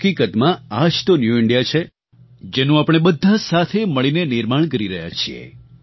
હકીકતમાં આ જ તો ન્યૂ ઇન્ડિયા છે જેનું આપણે બધાં સાથે મળીને નિર્માણ કરી રહ્યાં છીએ